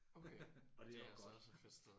Okay. Det er altså også et fedt sted